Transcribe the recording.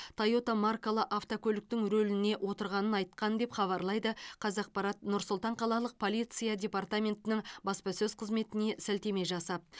тойота маркалы автокөліктің рөліне отырғанын айтқан деп хабарлайды қазақпарат нұр сұлтан қалалық полиция департаментінің баспасөз қызметіне сілтеме жасап